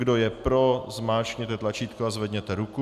Kdo je pro, zmáčkněte tlačítko a zvedněte ruku.